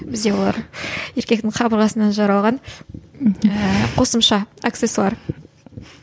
бізде олар еркектің қабырғасынан жаралған ыыы қосымша аксессуар